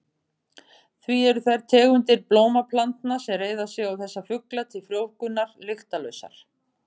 Því eru þær tegundir blómplantna sem reiða sig á þessa fugla til frjóvgunar lyktarlausar.